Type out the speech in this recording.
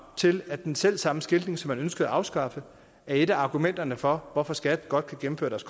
til at den selvsamme skiltning som man ønskede at afskaffe er et af argumenterne for at skat godt kan gennemføre deres